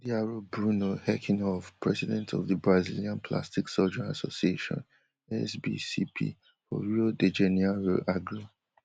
diaro bruno herkenhoff president of di brazilian plastic surgeon association SBCP for rio de janeiro agree